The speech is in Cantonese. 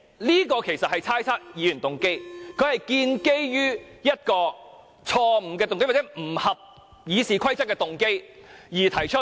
這其實是猜測議員動機，他建基於一個錯誤的動機，或者不合乎《議事規則》的動機而提出。